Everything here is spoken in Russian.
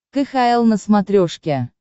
кхл на смотрешке